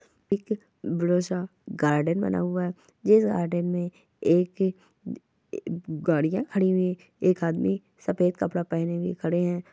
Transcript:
पीछे बडासा गार्डन बना हुआ है जिस गार्डन में एक गाड़ीया खड़ी हुई है एक आदमी सफ़ेद कपडा पहने हुए खड़े है।